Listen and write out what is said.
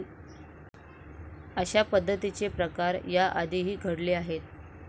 अशा पद्धतीचे प्रकार या आधीही घडले आहेत.